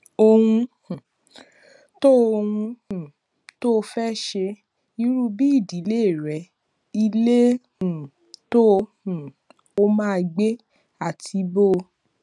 ohun um tó ohun um tó o fé ṣe irú bí ìdílé rẹ ilé um tó um o máa gbé àti bó